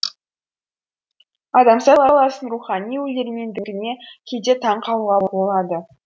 адамзат баласының рухани өлермендігіне кейде таңқалуға болады